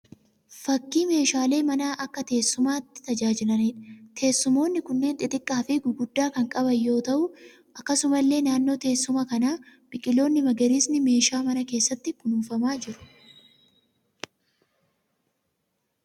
Fakkii meeshaalee manaa akka teessumaatti tajaajilaniidha. Teessumoonni kunneen xiqqqaa fi guddaa kan qaban yoo ta'u halluu adda addaan faayyamanii jiru. Akkasumallee naannoo teessuma kanaa biqiloonni magariisni meeshaa manaa keessaatti kunuunfamaa jiru.